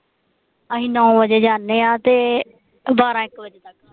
ਅਸੀਂ ਨੌਂ ਵਜੇ ਜਾਣੇ ਆ ਤੇ ਬਾਰਾਂ ਇਕ ਵਜੇ